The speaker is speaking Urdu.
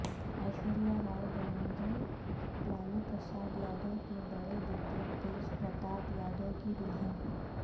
ایشوریہ رائے بنیں گی لالو پرساد یادو کے بڑے بیٹے تیج پرتاپ یادو کی دلہن